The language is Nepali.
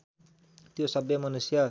त्यो सभ्य मनुष्य